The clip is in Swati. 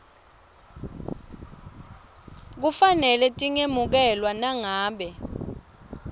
kufanele tingemukelwa nangabe